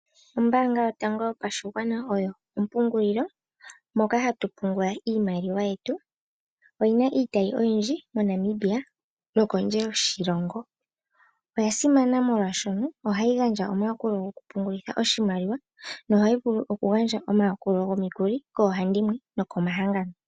Ombanga yotango yopashigwana oyo ompungulilo moka hatu pungula iimaliwa yetu oyina iitayi oyindji moNamibia nokondje yoshilongo. Oyasimana molwaashono ohayi gandja omayakulo gokupungulitha oshimaliwa no ohayi vulu okugandja woo omayakulo gomikuli koohandimwe nokomahangano.